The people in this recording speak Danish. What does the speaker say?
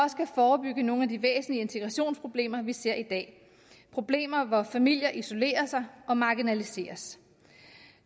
forebygge nogle af de væsentlige integrationsproblemer vi ser i dag problemer med at familier og isolerer sig og marginaliseres